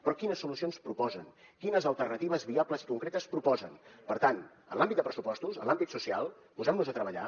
però quines solucions proposen quines alternatives viables i concretes proposen per tant en l’àmbit de pressupostos en l’àmbit social posemnos a treballar